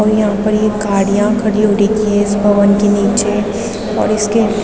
और यहाँ पर ये गाडियाँ खड़ी हो रखी हैं इस भवन के नीचे और इसके --